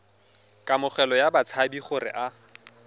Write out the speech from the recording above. kamogelo ya batshabi gore a